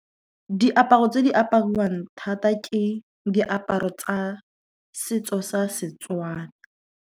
Diaparo tse di apariwang thata, ke diaparo tsa setso sa Setswana.